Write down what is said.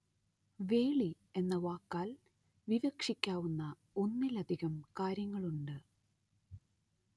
വേളി എന്ന വാക്കാല്‍ വിവക്ഷിക്കാവുന്ന ഒന്നിലധികം കാര്യങ്ങളുണ്ട്